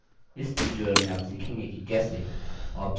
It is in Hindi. इस tutorial में आप सीखेंगे कि कैसे: